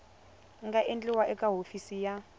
nga endliwa eka hofisi ya